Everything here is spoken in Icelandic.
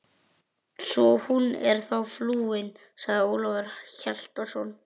Svo hún er þá flúin, sagði Ólafur Hjaltason.